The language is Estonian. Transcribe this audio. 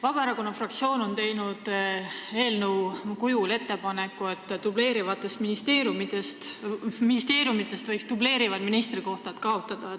Vabaerakonna fraktsioon on teinud eelnõu kujul ettepaneku, et ministeeriumidest võiks dubleerivad ministrikohad kaotada.